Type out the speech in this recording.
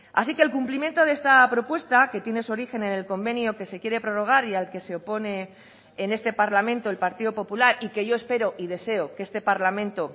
así que el cumplimiento de esta propuesta que tiene su origen en el convenio que se quiere prorrogar y al que se opone en este parlamento el partido popular y que yo espero y deseo que este parlamento